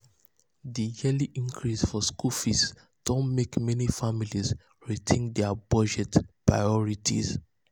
di yearly increase for school fees don mek meni families rethink dia budget priorities.